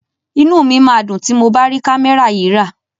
Inú mi máa dùn tí mo bá rí kámẹ́rà yìí rà.